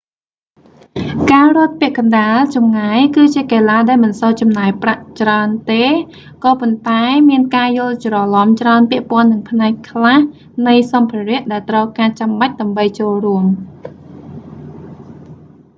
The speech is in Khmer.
ការរត់ពាក់កណ្ដាលចម្ងាយ គឺជាកីឡាដែលមិនសូវចំណាយប្រាក់ច្រើនទេ ក៏ប៉ុន្តែ មានការយល់ច្រឡំច្រើនពាក់ព័ន្ធនឹងផ្នែកខ្លះនៃសម្ភារៈដែលត្រូវការចាំបាច់ដើម្បីចូលរួម